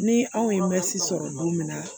Ni anw ye sɔrɔ don min na